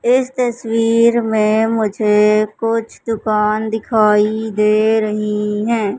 इस तस्वीर मे मुझे कुछ दुकान दिखाई दे रही हैं।